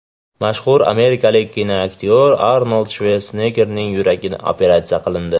Mashhur amerikalik kinoaktyor Arnold Shvarseneggerning yuragi operatsiya qilindi.